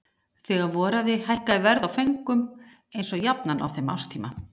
Þegar voraði hækkaði verð á föngum eins og jafnan á þeim árstíma.